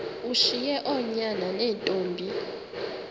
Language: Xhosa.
ushiye oonyana neentombi